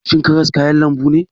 Shin karas kayan lambu ne?